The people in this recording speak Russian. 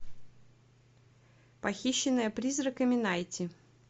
похищенная призраками найти